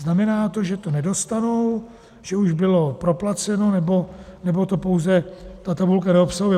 Znamená to, že to nedostanou, že už bylo proplaceno, nebo to pouze ta tabulka neobsahuje?